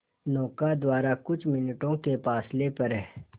नौका द्वारा कुछ मिनटों के फासले पर